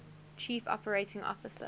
chief operating officer